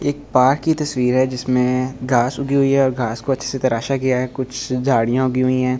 एक बाघ की तस्वीर है जिसमें घास उगी हुई है और घास को अच्छे से तराशा किया है कुछ झाड़ियों उगी हुई है।